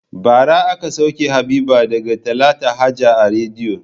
Bara aka sauke Habiba daga talata haja a rediyo.